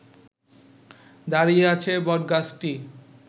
দাঁড়িয়ে আছে বটগাছটি